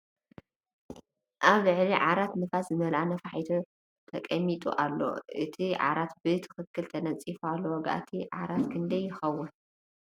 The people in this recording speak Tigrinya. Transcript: ኣብ ልዕሊ ዕራት ንፋስ ዝመለኣ ነፋሒቶ ተንጠልጢሉ ኣሎ ። እቲ ዕራት ብ ትክክል ተነፂፉ ኣሎ ። ዋጋ እቲ ዕራት ክንደይ ይከውን ?